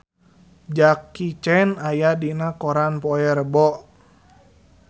Jackie Chan aya dina koran poe Rebo